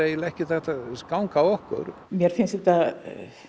ekkert hægt að ganga að okkur mér finnst þetta